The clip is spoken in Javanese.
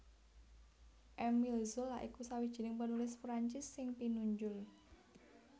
Émile Zola iku sawijining penulis Prancis sing pinunjul